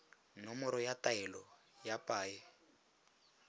nomoro ya taelo ya paye